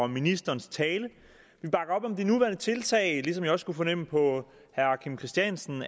ministerens tale vi bakker om de nuværende tiltag ligesom jeg også kunne fornemme på herre kim christiansen